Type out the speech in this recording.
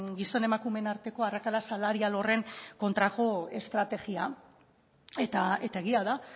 gizon emakumeen arteko arrakala salarial horren kontrako estrategia eta egia da